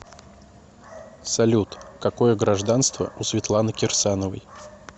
салют какое гражданство у светланы кирсановой